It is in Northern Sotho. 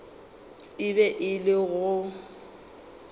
e be e le go